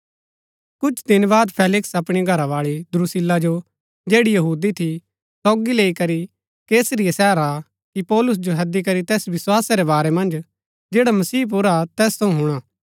कुछ दिन बाद हाक्म फेलिक्स अपणी घरावाळी द्रुसिल्ला जो जैड़ी यहूदी थी सोगी लैई करी कैसरिया शहर आ कि पौलुस जो हैदी करी तैस विस्‍वासा रै बार मन्ज जैडा मसीह पुर हा तैस थऊँ हुणा